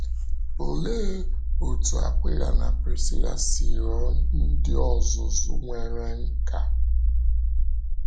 Ólee otú Akwịla na Prisíla si ghọọ ndị ọ̀zụ̀zụ nwere nkà?